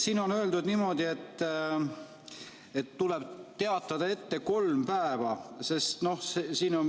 Siin on öeldud niimoodi, et tuleb teatada ette kolm päeva.